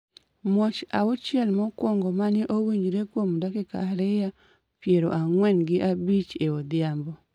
Muoch auchiel mokwongo ma ne owinjre kuom dakika ariyo piero ang’wen gi abich e odhiambo,